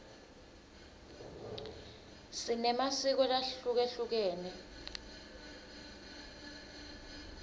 sinemasiko lahlukehlukene